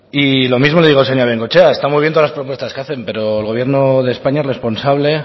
y lo mismo le digo a la señora bengoechea está muy bien todas las propuestas que hacen pero el gobierno de españa es responsable